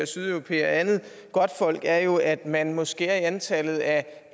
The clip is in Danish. sydeuropæere og andet godtfolk er jo at man må skære i antallet af